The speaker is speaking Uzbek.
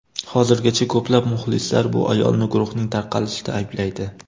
Hozirgacha ko‘plab muxlislar bu ayolni guruhning tarqalishida ayblaydi.